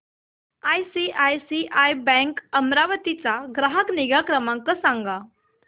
ICICI bank Amravati चा ग्राहक निगा क्रमांक सांगा